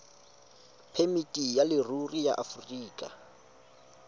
phemiti ya leruri ya aforika